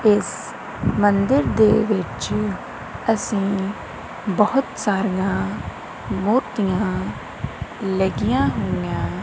ਇਸ ਮੰਦਿਰ ਦੇ ਵਿੱਚ ਅਸੀਂ ਬਹੁਤ ਸਾਰੀਆਂ ਮੂਰਤੀਆਂ ਲੱਗੀਆਂ ਹੋਈਆਂ।